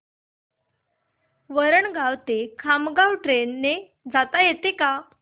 वरणगाव ते खामगाव ट्रेन ने जाता येतं का